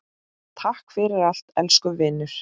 Takk fyrir allt, elsku vinur.